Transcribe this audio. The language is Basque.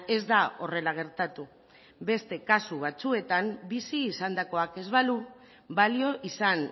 ez da horrela gertatu beste kasu batzuetan bizi izandakoak ez balu balio izan